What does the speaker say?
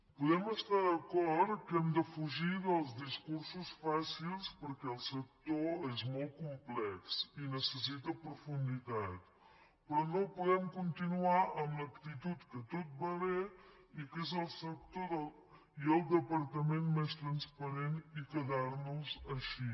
podem estar d’acord que hem de fugir dels discursos fàcils perquè el sector és molt complex i necessita profunditat però no podem continuar amb l’actitud que tot ve bé i que és el sector i el departament més transparent i quedar nos així